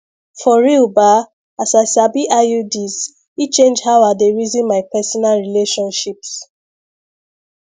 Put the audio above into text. for real ba as i sabi iuds e change how i dey reason my personal relationships